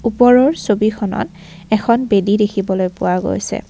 ওপৰৰ ছবিখনত এখন বেদী দেখিবলৈ পোৱা গৈছে।